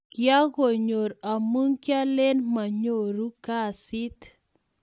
Kianyokoor amu kialen monyoruu kasiit